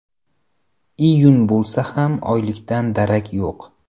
Iyun bo‘lsa ham oylikdan darak yo‘q.